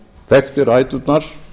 þekkti ræturnar